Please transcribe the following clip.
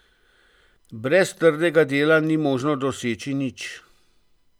Brez trdega dela ni možno nič doseči.